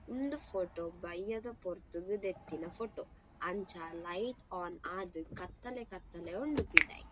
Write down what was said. ಇಂದು ಫೋಟೊ ಬಯ್ಯದ ಪೊರ್ತುಗು ದೆತ್ತಿನ ಫೋಟೊ ಅಂಚ ಲೈಟ್ ಆನ್ ಆದ್ ಕತ್ತಲೆ ಕತ್ತಲೆ ಉಂಡು ಪಿದಯಿ.